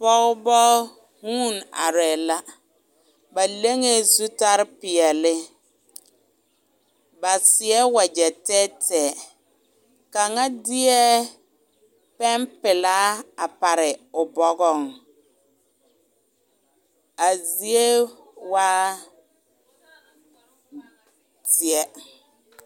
pɔgeba guune are la, ba leŋe zutarre pɛɛle, ba seɛ wagyɛ tɛɛtɛɛ kaŋa deɛ pɛn pelaa a pare o bɔgaŋ, a zie waa zeɛ.